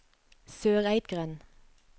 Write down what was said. Søreidgrend